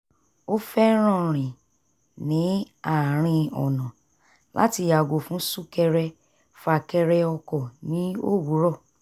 ó fẹ́ràn rìn ní àárín ọ̀nà láti yàgò fún sún-kẹrẹ-fà-kẹrẹ ọkọ̀ ní òwúrọ̀